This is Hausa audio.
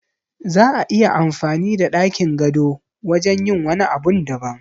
Za'a iya amfani da ɗakin gado wajen yin wani abun daban